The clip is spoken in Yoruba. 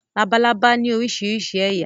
Labalábá ní oríṣiríṣi ẹ̀yà.